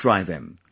Do try them